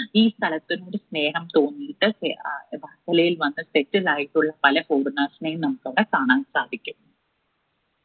ഈ സ്ഥലത്തിനോട് സ്നേഹം തോന്നിയിട്ട് വർക്കലയിൽ വന്ന്‌ settle ആയിട്ടുള്ള പല foreigners നെയും നമ്മുക്ക് അവിടെ കാണാൻ സാധിക്കും